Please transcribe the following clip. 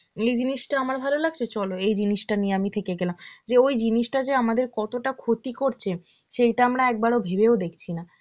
এই জিনিসটা আমার ভালো লাগছে, চলো এই জিনিসটা নিয়ে আমি থেকে গেলাম. যে ওই জিনিসটা যে আমাদের কতটা ক্ষতি করছে সেটা আমরা একবারও ভেবেও দেখছি না.